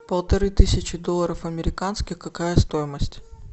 полторы тысячи долларов американских какая стоимость